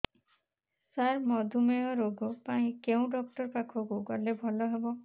ସାର ମଧୁମେହ ରୋଗ ପାଇଁ କେଉଁ ଡକ୍ଟର ପାଖକୁ ଗଲେ ଭଲ ହେବ